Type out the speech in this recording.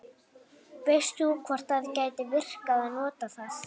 veist þú hvort það gæti virkað að nota það